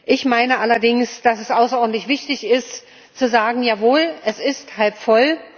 Ich meine allerdings, dass es außerordentlich wichtig ist zu sagen Jawohl, es ist halb voll.